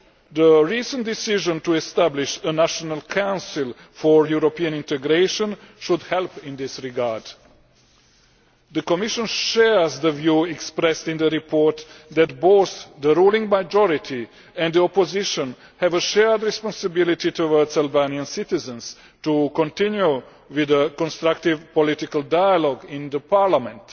The recent decision to establish a National Council for European Integration should help in this regard. The Commission shares the view expressed in the report that both the ruling majority and the opposition have a shared responsibility towards Albanian citizens to continue with a constructive political dialogue in parliament.